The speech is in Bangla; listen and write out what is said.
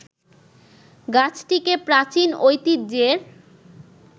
গাছটিকে প্রাচীন ঐতিহ্যের